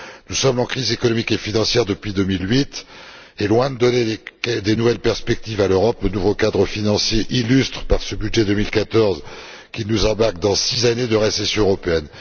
Nous sommes en crise économique et financière depuis 2008, et loin de donner de nouvelles perspectives à l'Europe, le nouveau cadre financier illustre, par ce budget 2014, qu'il nous embarque dans six années de récession européenne.